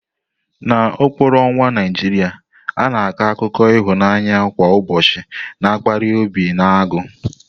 N'okpuru ọnwa Naijiria, a na-akọ akụkọ ịhụnanya kwa ụbọchị na-akpali obi na agụụ.